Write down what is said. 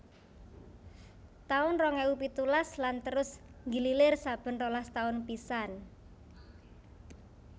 taun rong ewu pitulas lan terus nggilir saben rolas taun pisan